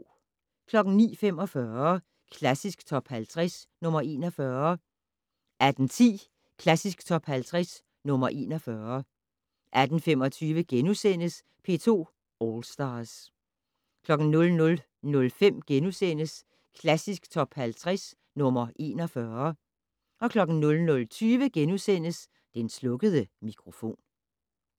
09:45: Klassisk Top 50 - nr. 41 18:10: Klassisk Top 50 - nr. 41 18:25: P2 All Stars * 00:05: Klassisk Top 50 - nr. 41 * 00:20: Den slukkede mikrofon *